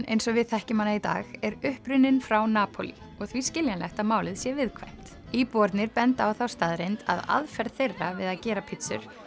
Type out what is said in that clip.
eins og við þekkjum hana í dag er upprunnin frá Napólí og því skiljanlegt að málið sé viðkvæmt íbúarnir benda á þá staðreynd að aðferð þeirra við að gera pizzur